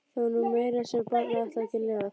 Það var nú meira sem barnið ætlaði að geta lifað.